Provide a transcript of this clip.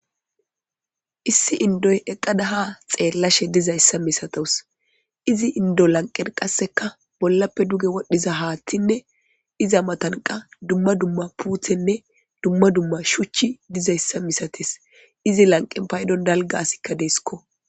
issi indoy eqqada ha xeellashe dizayssa misatos izi indo lanqen qasseka bollappe duge wodhdhiza haathtinne iza matanqa dumma dumma puuthenne dumma dumma shuchchi dizayssa misates izi lanqen paydon dalga asikka deesikko